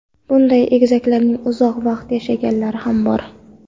Bunday egizaklarning uzoq vaqt yashaganlari ham bor.